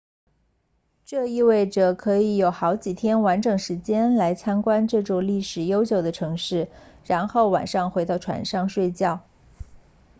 这意味着可以有好几天完整时间来参观这座历史悠久的城市然后晚上回到船上睡觉